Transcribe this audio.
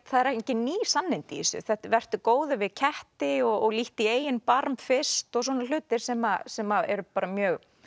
það eru engin ný sannindi í þessu vertu góður við ketti og líttu í eigin barm fyrst og svona hlutir sem sem eru mjög